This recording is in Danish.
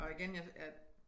Og igen jeg